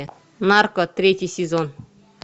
нарко третий сезон